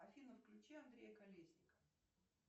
афина включи андрея колесника